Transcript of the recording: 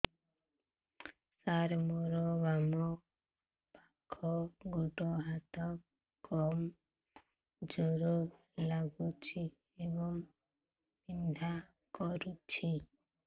ସାର ମୋର ବାମ ପାଖ ଗୋଡ ହାତ କମଜୁର ଲାଗୁଛି ଏବଂ ବିନ୍ଧା କରୁଛି